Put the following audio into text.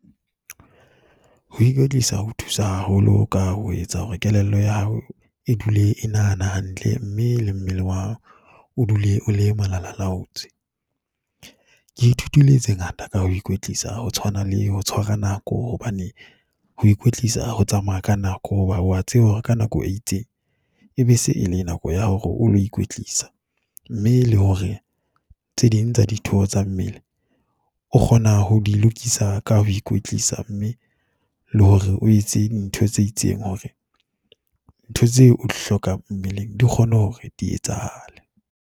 Ho ikwetlisa ho thusa haholo ka ho etsa hore kelello ya hao e dule e nahana hantle mme le mmele wa o dule o le malalalaotswe. Ke ithutile tse ngata ka ho ikwetlisa ho tshwana le ho tshwara nako hobane ho ikwetlisa ho tsamaya ka nako, hoba wa tseba hore ka nako e itseng ebe se ele nako ya hore o lo ikwetlisa. Mme le hore tse ding tsa ditho tsa mmele o kgona ho di lokisa ka ho ikwetlisa mme le hore o etse ntho tse itseng hore ntho tseo o di hlokang mmwleng di kgone hore di etsahale.